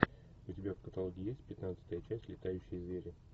у тебя в каталоге есть пятнадцатая часть летающие звери